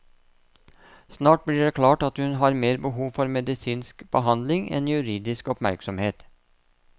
Snart blir det klart at hun har mer behov for medisinsk behandling enn juridisk oppmerksomhet.